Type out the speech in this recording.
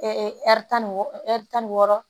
tan ni wɔɔrɔ ɛri tan ni wɔɔrɔ